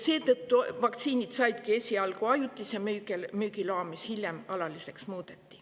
Seetõttu saidki vaktsiinid esialgu ajutise müügiloa, mis hiljem muudeti alaliseks.